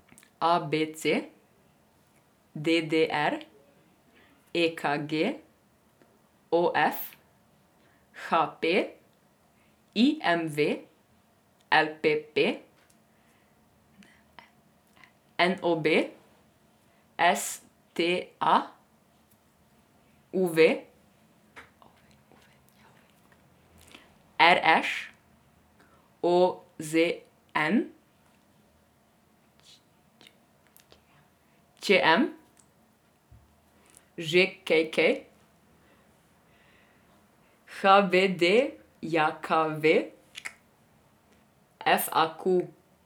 A B C; D D R; E K G; O F; H P; I M V; L P P; N O B; S T A; U V; R Š; O Z N; Č M; Ž K K; H B D J K V; F A Q.